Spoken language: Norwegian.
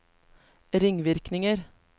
ringvirkninger